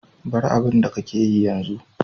Bar abun da ka ke yi yanzu.